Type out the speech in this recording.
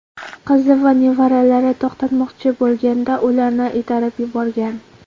Qizi va nevaralari to‘xtatmoqchi bo‘lganda, ularni itarib yuborgan.